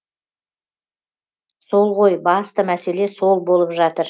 сол ғой басты мәселе сол болып жатыр